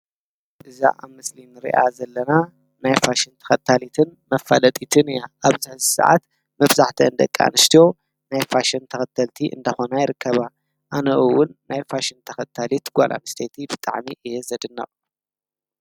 እዛ ኣብ ምስሊን ርኣ ዘለና ናይፋሽን ተኸታሊትን መፋለጢትን እያ ኣብዛ ዝሰዓት መፍዛሕተ ንደቃ ንስትዎ ናይፋሽም ተኸተልቲ እንደኾና ይርከባ ኣነኡውን ናይፋሽን ተኸታሊት ጓላም ስተቲ ብጠዕሚ እየ ዘድናቕ።